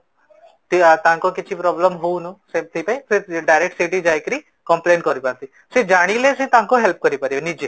କି ଆଜି ତାଙ୍କ କିଛି problem ହଉଣୁ ସେଠିପାଇଁ direct ସେଇଠି ଯାଇକି complain କରିପାରନ୍ତି, ସେ ଜାଣିଲେ ସେମାନେ କରିପାରିବେ ନିଜେ